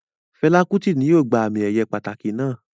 Fẹla Kuti ni yóò gba ami-eye pataki naa